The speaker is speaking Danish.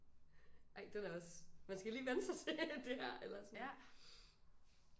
Ej den er også man skal lige vænne sig til det her eller sådan